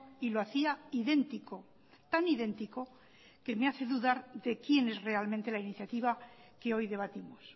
y lo hacía idéntico tan idéntico que me hace dudar de quién es realmente la iniciativa que hoy debatimos